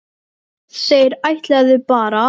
Þeir ætluðu bara.